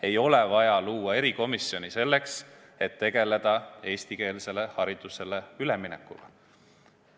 Ei ole vaja luua erikomisjoni selleks, et tegeleda eestikeelsele haridusele üleminekuga.